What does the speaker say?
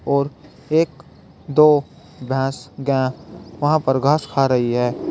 और एक दो भैंस गाय वहां पर घास खा रही है।